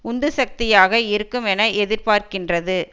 உந்து சக்தியாக இருக்குமென எதிர்பார்க்கின்றது